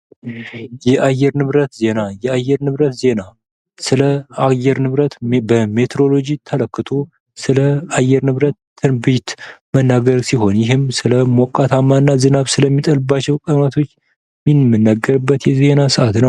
ዜና የሳይንስና ቴክኖሎጂ እድገቶችን በመዘገብ አዳዲስ ግኝቶችን ለህዝብ በማስተዋወቅ የእውቀት አድማሳችንን ያስፋፋል።